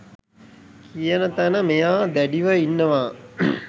කියන තැන මෙයා දැඩිව ඉන්නවා